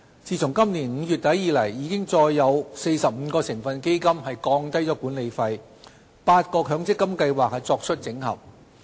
自今年5月底以來，已再有45個成分基金降低管理費和8個強積金計劃作出整合。